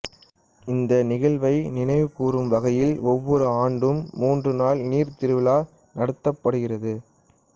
இந்த நிகழ்வை நினைவுகூரும் வகையில் ஒவ்வொரு ஆண்டும் மூன்று நாள் நீர் திருவிழா நடத்தப்படுகிறது